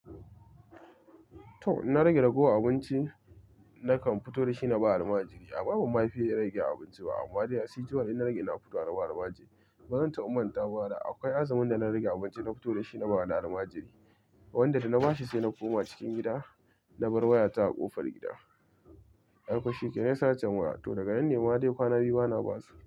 To, inna rage ragowar abinci nakan fito da shi na ba al'majiri. Amma banma fiye rage abinci ba amma de as usual in na rage ina fitowa na ba al'majiri. Bazan taba mantawa ba da akwai azumin da na rage abinci na fito da shi na ba wani al'majiri. Wanda da na ba shi sai na koma cikin gida na bar waya ta a ƙofar gida. Ai ko shikenan ya sacen waya, to daga nan ne ma de kwana biyu bana basu.